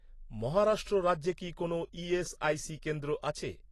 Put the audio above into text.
মহারাষ্ট্র রাজ্যে কি কোনও ইএসআইসি কেন্দ্র আছে?